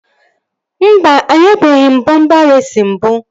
Mba, anyabeghi m bọmpa reesi mbụ